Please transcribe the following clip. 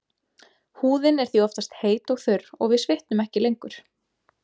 Húðin er því oftast heit og þurr og við svitnum ekki lengur.